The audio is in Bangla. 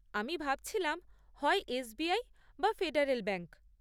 আমি ভাবছিলাম হয় এস.বি.আই বা ফেডারেল ব্যাঙ্ক।